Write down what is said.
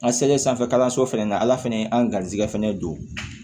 An selen sanfɛ kalanso fɛnɛ na ala fɛnɛ ye an ga garijɛgɛ fɛnɛ ye don